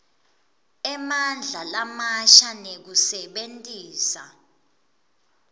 emandla lamasha nekusebentisa